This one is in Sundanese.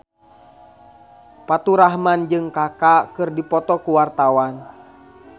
Faturrahman jeung Kaka keur dipoto ku wartawan